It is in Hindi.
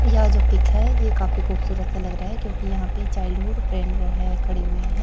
यह जो पिक है ये काफी खूबसूरत सा लग रहा है क्योंकि यहां पे चाइल्डहुड फ्रेंड है खड़े हुए है।